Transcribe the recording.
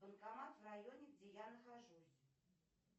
банкомат в районе где я нахожусь